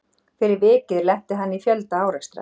Fyrir vikið lenti hann í fjölda árekstra.